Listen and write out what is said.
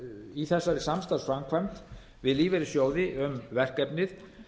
í þessari samstarfsframkvæmd við lífeyrissjóði um verkefnið